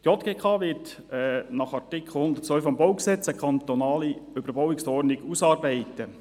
Die JGK wird nach Artikel 102 des Baugesetzes (BauG) eine kantonale Überbauungsordnung ausarbeiten.